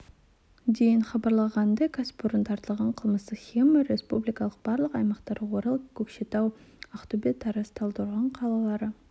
дейін хабарланғанындай кәсіпорын тартылған қылмыстық схема республиканың барлық аймақтары орал көкшетау ақтөбе тараз талдықорған қалалары